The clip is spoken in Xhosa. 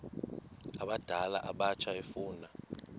abadala abatsha efuna